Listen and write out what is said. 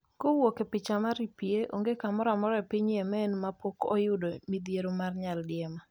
kowuok e picha mar EPA, Onge kamoramora e piny Yemen ma pok oyudo midhiero mar nyaldiema